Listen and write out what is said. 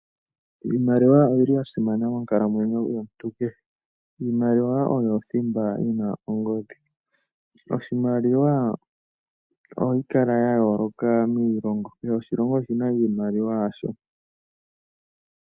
Iimaliwa oyili ya simana monkalamwenyo yomuntu kehe. Iimaliwa oyo thimba yina ongodhi. Iimaliwa ohayi kala ya yooloka miilongo, kehe oshilongo oshina iimaliwa yasho.